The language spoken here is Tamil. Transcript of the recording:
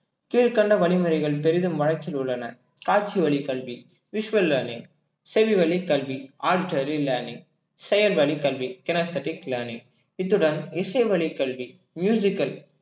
கீழ்க்கண்ட வழிமுறைகள் பெரிதும் வழக்கில் உள்ளன காட்சி வழி கல்வி visual learning செவிவழி கல்வி artery learning செயல் வழி கல்வி learning இத்துடன் இசை வழி கல்வி al